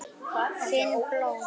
Finn blóð.